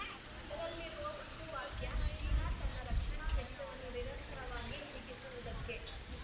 ಅದರಲ್ಲಿರುವ ಒಂದು ವಾಕ್ಯ ಚೀನಾ ತನ್ನ ರಕ್ಷಣಾ ವೆಚ್ಚವನ್ನು ನಿರಂತರವಾಗಿ ಹಿಗ್ಗಿಸುವುದಕ್ಕೆ